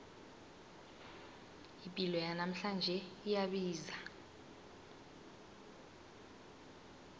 ipilo yanamhlanje iyabiza